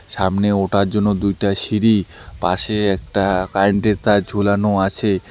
সামনে ওঠার জন্য দুইটা সিঁড়ি পাশে একটা কারেন্ট -এর তার ঝুলানো আছে।